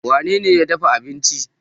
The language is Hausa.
wanene ya dafa abinci?